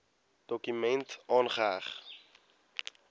dokument aangeheg